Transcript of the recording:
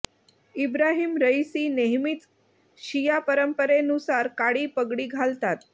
Ibrahim Raisi नेहमीच शिया परंपरेनुसार काळी पगडी घालतात